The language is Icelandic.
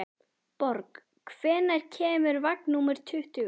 Borg, hvenær kemur vagn númer tuttugu?